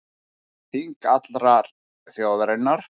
Þing allrar þjóðarinnar